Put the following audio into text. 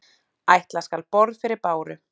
Ætla skal borð fyrir báru.